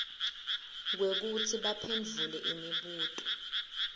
kwekutsi baphendvule imibuto